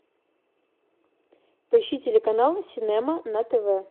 поищи телеканал синема на тв